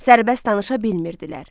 Sərbəst danışa bilmirdilər.